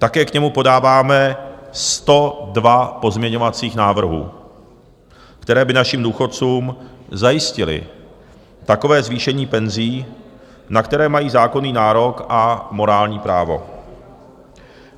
Také k němu podáváme 102 pozměňovacích návrhů, které by našim důchodcům zajistily takové zvýšení penzí, na které mají zákonný nárok a morální právo.